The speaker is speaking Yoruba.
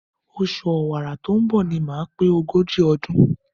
Oṣù Ọ̀wàrà tó ń bọ̀ ni màá pé ogójì ọdún.